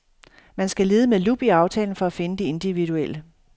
Man skal lede med lup i aftalen for at finde det individuelle.